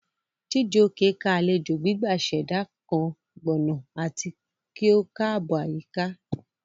Chijioke ká alejo gbigba ṣẹda kan gbona ati ki o kaabo ayika.